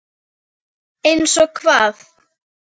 Einsog hvað?